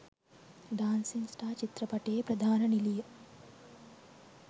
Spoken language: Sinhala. ඩාන්සින් ස්ටාර් චිත්‍රපටයේ ප්‍රධාන නිළිය